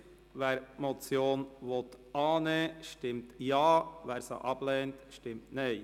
Wer diese Motion annehmen will, stimmt Ja, wer sie ablehnt, stimmt Nein.